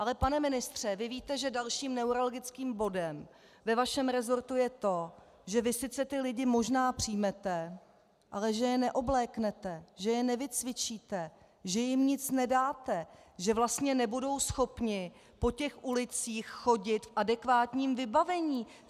Ale pane ministře, vy víte, že dalším neurologickým bodem ve vašem resortu je to, že vy sice ty lidi možná přijmete, ale že je neobléknete, že je nevycvičíte, že jim nic nedáte, že vlastně nebudou schopni po těch ulicích chodit v adekvátním vybavení.